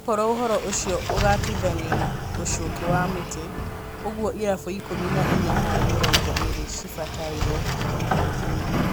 Okorũo ũhoro ũcio ũgatuithanio na ũcuki wa mĩtĩ, ũguo irabu ikũmi na inya harĩ mĩrongo ĩĩrĩ cigabatarwo kũigwithania